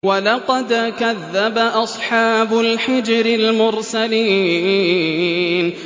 وَلَقَدْ كَذَّبَ أَصْحَابُ الْحِجْرِ الْمُرْسَلِينَ